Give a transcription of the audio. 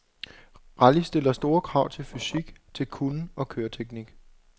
Rally stiller store krav til fysik, til kunnen og køreteknik.